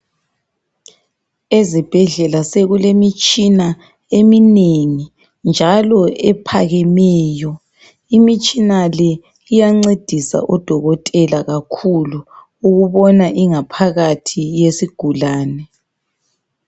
Ezibhedlela sekulemitshina eminengi njalo ephakemeyo imitshina le iyancedisa odokotela kakhulu ukubona ingaphakathi yesigulani.